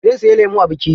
Zai siyi lemu a biki.